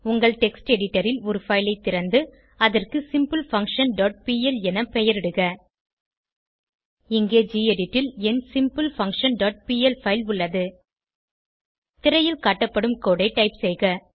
உங்கள் text editor ல் ஒரு பைல் ஐ திறந்து அதற்கு சிம்பிள்ஃபங்க்ஷன் டாட் பிஎல் என பெயரிடுக இங்கே கெடிட் ல் என் சிம்பிள்ஃபங்க்ஷன் டாட் பிஎல் பைல் உள்ளது திரையில் காட்டப்படும் கோடு ஐ டைப் செய்க